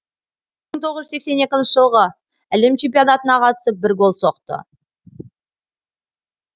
мың тоғыз жүз сексен екінші жылғы әлем чемпионатына қатысып бір гол соқты